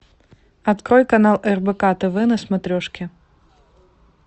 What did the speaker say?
открой канал рбк тв на смотрешке